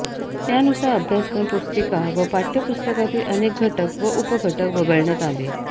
त्यानुसार अभ्यासक्रम पुस्तिका व पाठय़पुस्तकातील अनेक घटक व उपघटक वगळण्यात आले